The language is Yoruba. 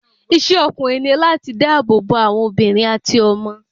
Isé ọkùnrin ní láti dá ààbò bo àwọn àwọn obìnrin àti ọmọ